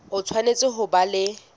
o tshwanetse ho ba le